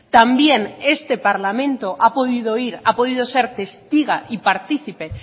también este parlamento ha podido oír ha podido ser testiga y partícipe